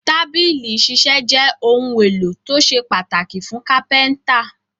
Tábìlì ìṣiṣẹ́ jẹ́ ohun-èlò tó ṣe pàtàkì fún Kápẹ́ńtà.